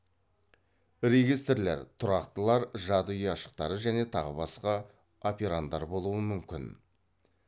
регистрлер тұрақтылар жады ұяшықтары және тағы басқа операндар болуы мүмкін